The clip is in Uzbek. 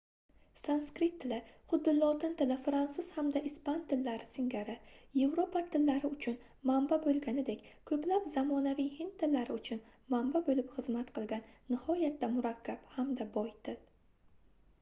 sanskrit tili xuddi lotin tili fransuz hamda ispan tillari singari yevropa tillari uchun manba boʻlganidek koʻplab zamonaviy hind tillari uchun manba boʻlib xizmat qilgan nihoyatda murakkab hamda boy til